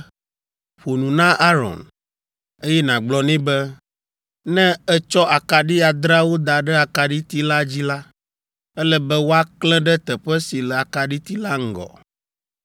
“Ƒo nu na Aron, eye nàgblɔ nɛ be, ‘Ne ètsɔ akaɖi adreawo da ɖe akaɖiti la dzi la, ele be woaklẽ ɖe teƒe si le akaɖiti la ŋgɔ.’ ”